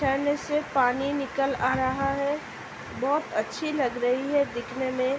झरने से पानी निकल आ रहा है | बोहत अच्‍छी लग रही है दिखने में |